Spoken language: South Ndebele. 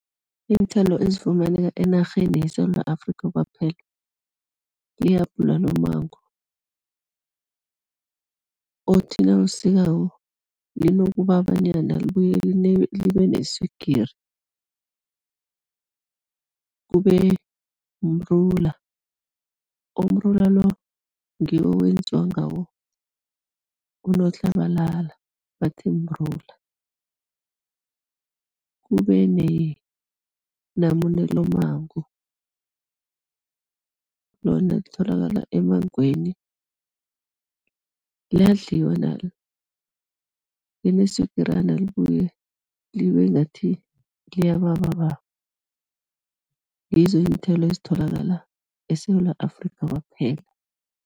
Iinthelo ezifumaneka enarheni yeSewula Afrika kwaphela, yihabhula no-mango, othi nawusikako linokubabanyana libuye libe neswigiri. Kube mrula, umrula lo ngiwo wenziwa ngawo unotlabalala, bathi mrula, Kube nenamune lommango, lona litholakala emmangweni, liyadliwa nalo, lineswigirana libuye libe ngathi liyababababa, ngizo iinthelo ezitholakala eSewula Afrika kwaphela.